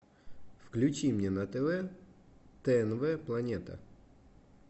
включи мне на тв тнв планета